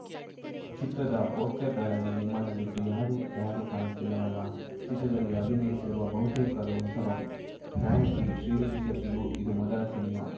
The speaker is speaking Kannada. ಚಿತ್ರದ ಪೋಸ್ಟರ್‌ಗಳಲ್ಲಿ ನಿಮ್ಮನ್ನು ಬಿಟ್ಟು ಯಾರು ಯಾರು ಕಾಣುತ್ತಿಲ್ಲವಲ್ಲ ಚಿತ್ರದಲ್ಲಿ ಅಭಿನಯಿಸಿರುವ ಬಹುತೇಕರು ಹೊಸಬರು ನಾಯಕಿ ಶ್ರೀನಿಧಿ ಶೆಟ್ಟಿಗೂ ಇದು ಮೊದಲ ಸಿನಿಮಾ